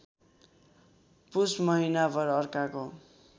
पुस महिनाभर अर्काको